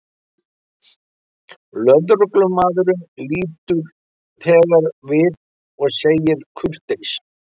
Lögreglumaðurinn lítur þegar við og segir kurteis